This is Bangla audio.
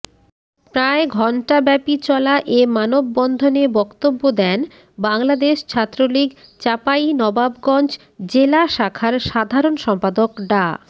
প্রায় ঘণ্টাব্যাপী চলা এ মানববন্ধনে বক্তব্য দেন বাংলাদেশ ছাত্রলীগ চাঁপাইনবাবগঞ্জ জেলা শাখার সাধারণ সম্পাদক ডা